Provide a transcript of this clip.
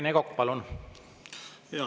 Rene Kokk, palun!